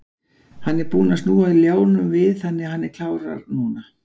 Hann er búinn að snúa ljánum við þannig að hann klárar núna.